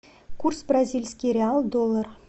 курс бразильский реал доллар